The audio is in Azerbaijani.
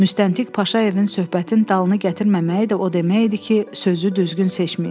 Müstəntiq Paşayevin söhbətin dalını gətirməməyi də o demək idi ki, sözü düzgün seçməyib.